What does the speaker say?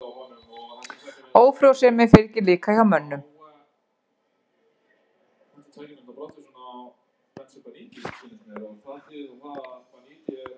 Ófrjósemi fylgir líka hjá mönnum.